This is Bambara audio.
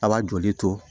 A b'a joli to